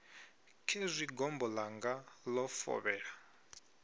khezwi gombo ḽanga ḽo fovhela